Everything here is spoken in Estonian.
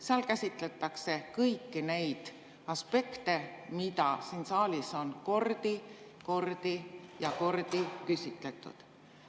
Seal käsitletakse kõiki neid aspekte, mille kohta siin saalis on kordi ja kordi küsitud.